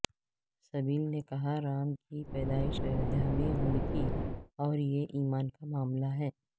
سبل نے کہا رام کی پیدائش ایودھیا میں ہوئی تھی اور یہ ایمان کا معاملہ